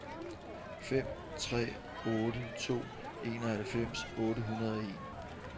fem tre otte to enoghalvfems otte hundrede og en